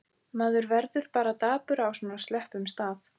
Maður verður bara dapur á svona slöppum stað.